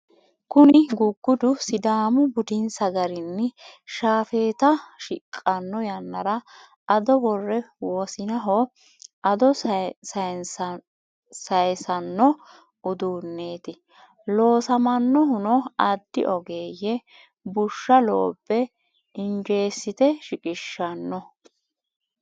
kuni guggudu sidaamu buddinsa garinni shafeeta shiqqanno yannara ado wore wosinaho ado sayisanno uduuneeti. loosamanohuno addi ogeeyye bushsha loobbe injeesite shiqqishanno.